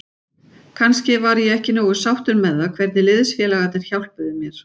Kannski var ég ekki nógu sáttur með það hvernig liðsfélagarnir hjálpuðu mér.